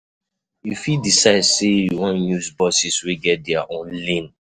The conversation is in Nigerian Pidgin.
You fit decide sey you wan use buses wey get their own lane